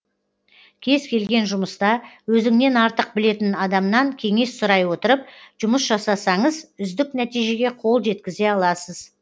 кез келген жұмыста өзіңнен артық білетін адамнан кеңес сұрай отырып жұмыс жасасаңыз үздік нәтижеге қол жеткізе аласыз